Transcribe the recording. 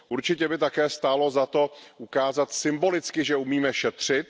Určitě by také stálo za to ukázat symbolicky, že umíme šetřit.